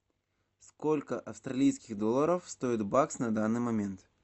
сколько австралийских долларов стоит бакс на данный момент